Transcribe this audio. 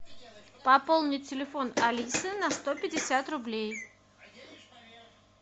пополнить телефон алисы на сто пятьдесят рублей